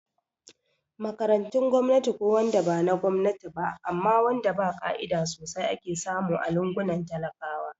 Makarantun gwamnati ko wanda bana Gwamnati ba amma wanda ba ka'ida sosai ake samu a lungunan talakawa